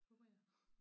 Håber jeg